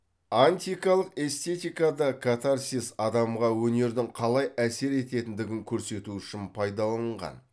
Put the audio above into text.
антикалық эстетикада катарсис адамға өнердің қалай әсер ететіндігін көрсету үшін пайдаланылған